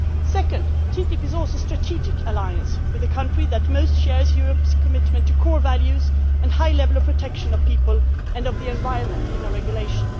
Second, TTIP is also a strategic alliance with the country that most closely shares Europe's commitment to core values and to a high level of protection of people and of the environment in our regulation.